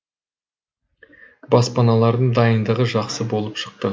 балапандардың дайындығы жақсы болып шықты